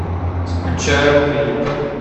скучаю клип